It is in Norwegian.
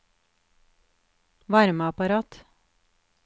varmeapparat